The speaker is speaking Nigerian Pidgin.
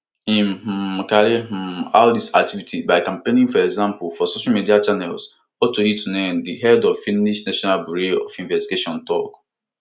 im um carry um out dis activity by campaigning for example for social media channels otto hiltunen di head of finnish national bureau of investigation tok